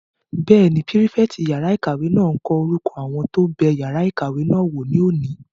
Bẹ́ẹ̀ni, pírífẹ̀tì yàrá-ìkàwé náà n kọ orúkọ àwọn tó bẹ yàrá ìkàwé náà wò ní òní